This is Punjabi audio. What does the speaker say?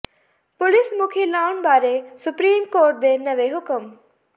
ਪੁਲਿਸ ਮੁਖੀ ਲਾਉਣ ਬਾਰੇ ਸੁਪਰੀਮ ਕੋਰਟ ਦੇ ਨਵੇਂ ਹੁਕਮ